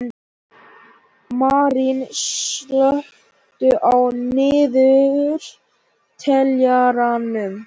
Marín, slökktu á niðurteljaranum.